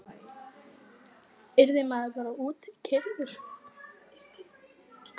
Yrði maður bara útkeyrður?